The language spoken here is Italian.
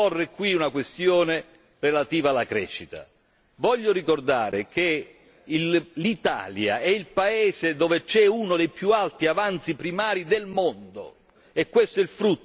Voglio ricordare che l'Italia è il Paese dove c'è uno dei più alti avanzi primari del mondo e questo è il frutto di un'azione di governo lungimirante e coraggiosa.